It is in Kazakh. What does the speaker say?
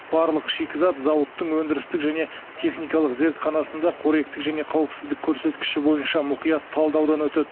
барлық шикізат зауыттың өндірістік және техникалық зертханасында қоректік және қауіпсіздік көрсеткіші бойынша мұқият талдаудан өтеді